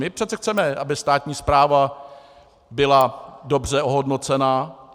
My přece chceme, aby státní správa byla dobře ohodnocena.